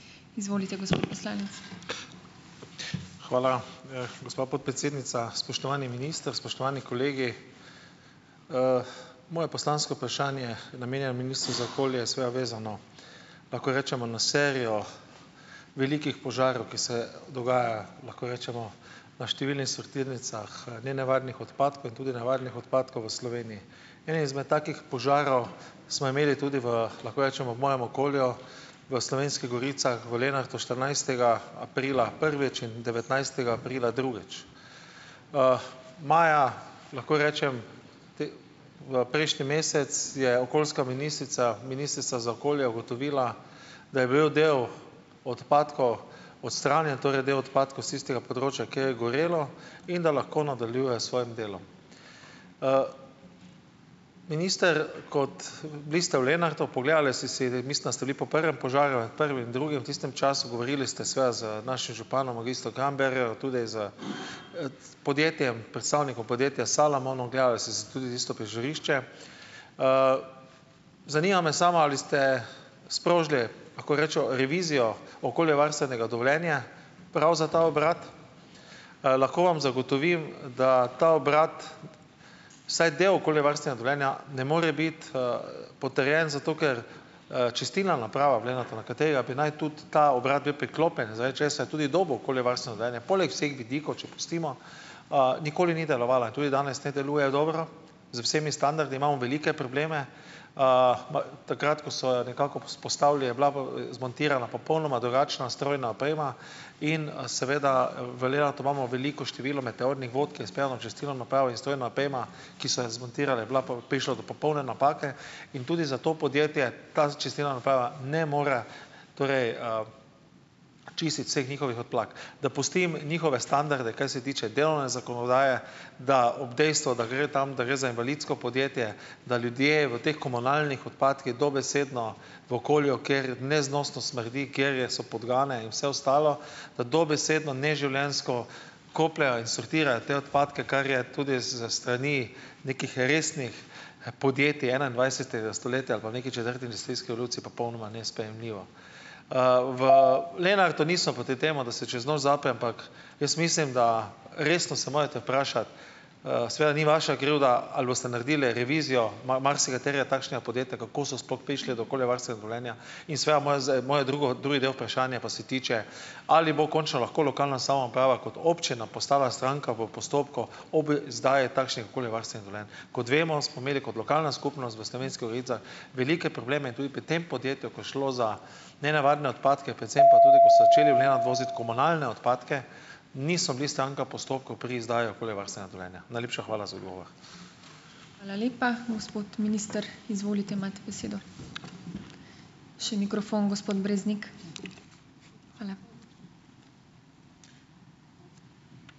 Hvala, gospa podpredsednica. Spoštovani minister, spoštovani kolegi! Moje poslansko vprašanje je namenjeno ministru za okolje, seveda vezano, lahko rečemo, na serijo velikih požarov, ki se dogaja, lahko rečemo, na številnih sortirnicah, nenevarnih odpadkov in tudi nevarnih odpadkov v Sloveniji. Enega izmed takih požarov smo imeli tudi v, lahko rečemo, v mojem okolju v Slovenskih goricah v Lenartu štirinajstega aprila prvič in devetnajstega aprila drugič. Maja, lahko rečem, prejšnji mesec je okoljska ministrica, ministrica za okolje ugotovila, da je bil del odpadkov odstranjen, torej del odpadkov s tistega področja, kjer je gorelo, in da lahko nadaljuje s svojim delom. Minister, kot bili ste v Lenartu, pogledali ste si, zdaj mislim, da ste bili po prvem požaru, prvi in drugi v tistem času, govorili ste seveda z našim županom magistrom Krambergerjem, tudi s, podjetjem predstavnikom podjetja Salamon, ogledali ste si tudi tisto prizorišče. Zanima me samo: ali ste sprožili, lahko rečemo, revizijo okoljevarstvenega dovoljenja prav za ta obrat? Lahko vam zagotovim, da ta obrat vsaj del okoljevarstvenega dovoljenja ne more biti, potrjen zato, ker, čistilna naprava v Lenartu, na katerega bi naj tudi ta obrat bil priklopljen, zaradi česar je tudi dobil okoljevarstveno dovoljenje poleg vseh vidikov, če pustimo, nikoli ni delovala, tudi danes ne deluje dobro z vsemi standardi, imamo velike probleme, takrat ko so jo nekako vzpostavili je bila zmontirana popolnoma drugačna strojna oprema in, seveda v Lenartu imamo veliko število meteornih vod, ki je speljana čez celo napravo in strojna oprema, ki so jo zmontirali, je bila pa prišla do popolne napake in tudi za to podjetje ta čistilna naprava ne more torej, čistiti vseh njihovih odplak. Da pustim njihove standarde, kar se tiče delovne zakonodaje, da ob dejstvu, da gre tam, da gre za invalidsko podjetje, da ljudje v teh komunalnih odpadkih dobesedno v okolju, kjer neznosno smrdi, kjer je so podgane in vse ostalo, da dobesedno neživljenjsko kopljejo in sortirajo te odpadke, kar je tudi s strani nekih resnih podjetij enaindvajsetega stoletja pa v neki četrti industrijski revoluciji popolnoma nesprejemljivo. V Lenartu nismo proti temu, da se čez noč zapre, ampak jaz mislim, da resno se morate vprašati, seveda ni vaša krivda. Ali boste naredili revizijo marsikaterega takšnega podjetja? Kako so sploh prišli do okoljevarstvenega dovoljenja? In seveda moje moje drugo drugi del vprašanja pa se tiče. Ali bo končno lahko lokalna samouprava kot občina postala stranka v postopku ob izdaji takšnih okoljevarstvenih dovoljenj. Kot vemo, smo imeli kot lokalna skupnost v Slovenskih goricah velike probleme tudi pri tem podjetju, ko je šlo za nenavadne odpadke, predvsem pa tudi, ker so začeli v Lenart voziti komunalne odpadke, niso bili stranka v postopku pri izdaji okoljevarstvenega dovoljenja. Najlepša hvala za odgovor.